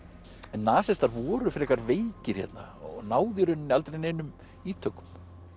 en nasistar voru frekar veikir hérna og náðu í rauninni aldrei neinum ítökum